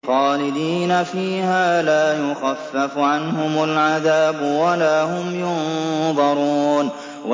خَالِدِينَ فِيهَا ۖ لَا يُخَفَّفُ عَنْهُمُ الْعَذَابُ وَلَا هُمْ يُنظَرُونَ